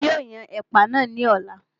Èmi yóò yan ẹ̀pà náà ní ọ̀la